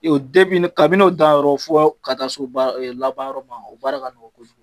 Kabini n'o dan yɔrɔ, fo ka na s'o laban yɔrɔ ma, o baara ka nɔgɔ kojugu.